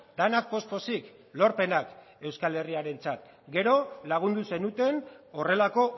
denak poz pozik lorpenak euskal herriarentzat gero lagundu zenuten horrelako